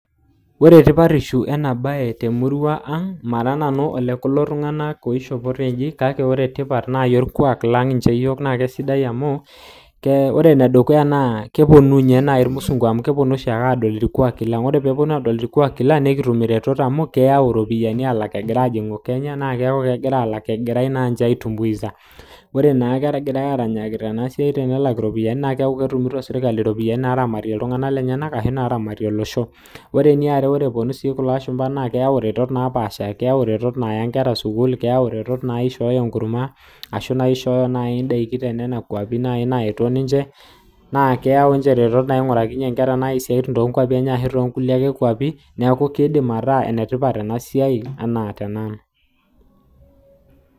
ore tipatisho ena baye naa keponu irmusunku aingor naa keeta faida amu kelaak iropiani egira aajingu nitumia sirkali aaramatie iltunganak lenyenak nitoki sii aishoru tenebau enegirae aasie ina siai. Keyao sii iretot naisho nkera idaikin, nelaaki sii sukuul nidim sii nishooyo siatin toonkwapi enye